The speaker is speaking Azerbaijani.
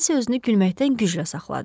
Nensi özünü gülməkdən güclə saxladı.